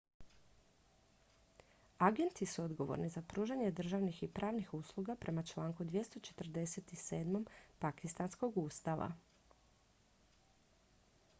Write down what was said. agenti su odgovorni za pružanje državnih i pravnih usluga prema članku 247. pakistanskog ustava